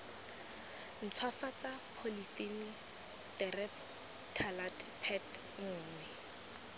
ntshwafatsa polythylene terephthalate pet nngwe